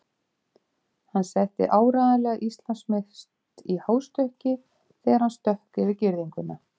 Hann setti áreiðanlega Íslandsmet í hástökki þegar hann stökk yfir girðinguna.